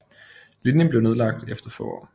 Linjen blev nedlagt efter få år